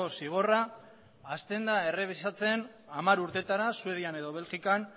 zigorra hasten da errebisatzen hamar urtetara suedian edo belgikan